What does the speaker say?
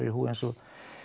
í húfi eins og